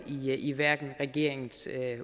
ligger i regeringens